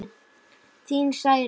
Þín Særún.